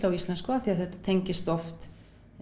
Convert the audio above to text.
á íslensku af því þetta tengist oft